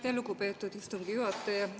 Aitäh, lugupeetud istungi juhataja!